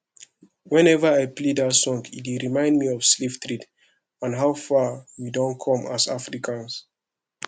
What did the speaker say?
whenever i play dat song e dey remind me of slave trade and how far we don come as africans